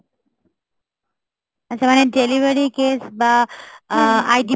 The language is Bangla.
আচ্ছা মানে delivery case বা আহ eye department!